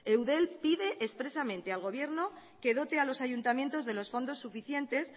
eudel pide expresamente al gobierno que dote a los ayuntamientos de los fondos suficientes